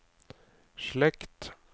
slekt